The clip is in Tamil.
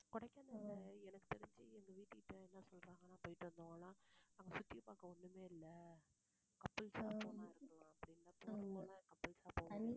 கொடைக்கானல்ல எனக்கு தெரிஞ்சு எங்க வீட்டுக்கிட்ட என்ன சொல்றாங்கன்னா, போயிட்டு வந்தவங்க எல்லாம், அங்க சுத்தி பார்க்க ஒண்ணுமே இல்லை couples ஆ போனா இருக்கலாம் போனா couples ஆ